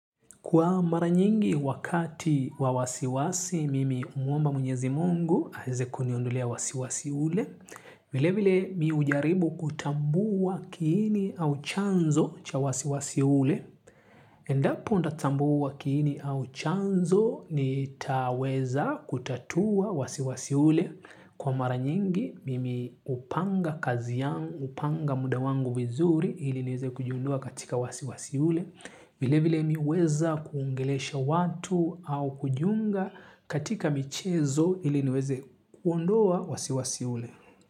Kwa mara nyingi wakati wa wasiwasi, mimi humwomba mwenyezi Mungu aweze kuniondolea wasiwasi ule. Vile vile mimi hujaribu kutambua kiini au chanzo cha wasiwasi ule. Endapo nitatambua kiini au chanzo nitaweza kutatua wasiwasi ule. Kwa mara nyingi mimi hupanga kazi yangu, hupanga muda wangu vizuri ili niweze kujiondoa katika wasiwasi ule. Vile vile mimi huweza kuongelesha watu au kujiunga katika michezo ili niweze kuondoa wasiwasi ule.